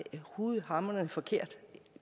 hamrende forkert